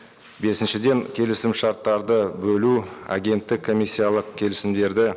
бесіншіден келісімшарттарды бөлу агенттік комиссиялық келісімдерді